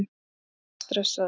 Doddi er stressaður.